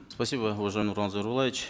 спасибо уважаемый нурлан зайроллаевич